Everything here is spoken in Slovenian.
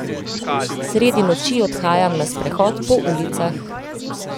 Sredi noči odhajam na sprehod po ulicah.